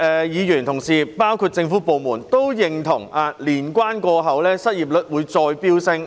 議員和政府當局都認同年關過後，失業人數會進一步增加。